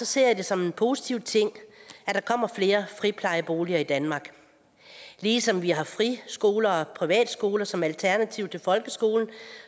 ser det som en positiv ting at der kommer flere friplejeboliger i danmark ligesom vi har friskoler og privatskoler som alternativ til folkeskolen